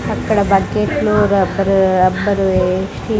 అక్కడ బకెట్లో rubber rubber వేసి--